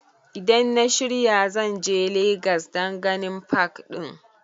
Idan na shirya zan je legas dan ganin pak ɗin